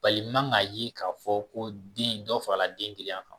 Bari i man k'a ye k'a fɔ ko den dɔ farala den girinya kan